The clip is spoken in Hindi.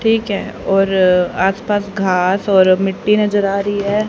ठीक है और आसपास घास और मिट्टी नजर आ रही है।